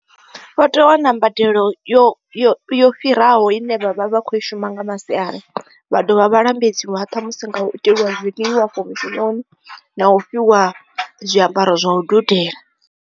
Vha tea u wana mbadelo yo yo yo fhiraho ine vha vha vha kho shuma nga masiari vha dovha vha lambedziwe ṱhamusi nga u itelwa zwiḽiwa afho mushumoni na u fhiwa zwiambaro zwa u dudela.